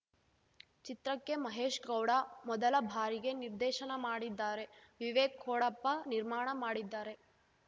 ಚಿತ್ರಕ್ಕೆ ಮಹೇಶ್‌ ಗೌಡ ಮೊದಲ ಬಾರಿಗೆ ನಿರ್ದೇಶನ ಮಾಡಿದ್ದಾರೆ ವಿವೇಕ್‌ ಕೋಡಪ್ಪ ನಿರ್ಮಾಣ ಮಾಡಿದ್ದಾರೆ